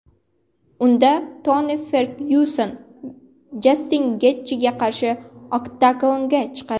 Unda Toni Fergyuson Jastin Getjiga qarshi oktagonga chiqadi.